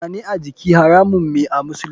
Zane a jiki haramun me a musulunci.